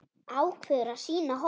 Ákveður að sýna hold.